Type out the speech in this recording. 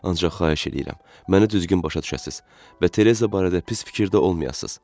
Ancaq xahiş eləyirəm, məni düzgün başa düşəsiz və Tereza barədə pis fikirdə olmayasız.